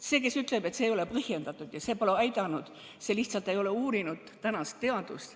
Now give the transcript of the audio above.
See, kes ütleb, et maskikandmine ei ole põhjendatud ja see pole aidanud, see lihtsalt ei ole uurinud tänast teadust.